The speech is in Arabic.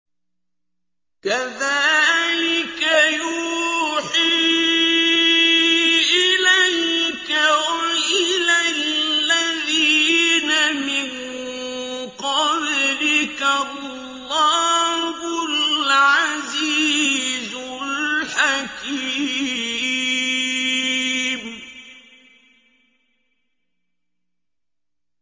كَذَٰلِكَ يُوحِي إِلَيْكَ وَإِلَى الَّذِينَ مِن قَبْلِكَ اللَّهُ الْعَزِيزُ الْحَكِيمُ